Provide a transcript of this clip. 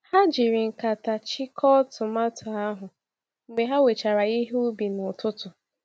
Ha jiri nkata chịko tomato ahụ mgbe ha wechara ihe ubi n'ụtụtụ.